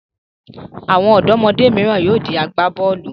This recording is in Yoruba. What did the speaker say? Àwọn ọ̀dọ́mọdé mìíràn yóò di agbá-bọ́ọ́lù.